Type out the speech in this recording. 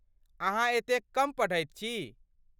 अहाँ एतेक कम पढ़ैत छी।